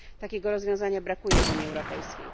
Takiego rozwiązania brakuje w Unii Europejskiej.